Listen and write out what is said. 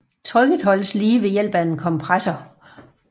Trykket holdes ved lige ved hjælp af en kompressor